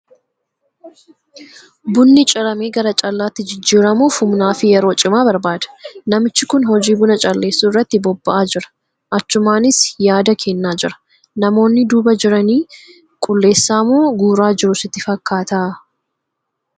Bunni ciramee gara callaatti jijjiiramuuf humnaa fi yeroo cimaa barbaada. Namichi kun hojii buna calleessuu irratti bobba'aa jira. Achumaanis yaada kennaa jira. Namoonni duuba jiran qulleessaa moo guuraa jiru sitti fakkaata?